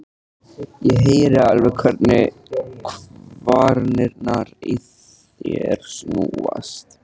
Ég heyri alveg hvernig kvarnirnar í þér snúast.